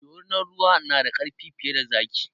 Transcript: Dorinar ruwa na da ƙarfi fiye da zaki